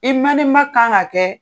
I mane ma kan ŋa kɛ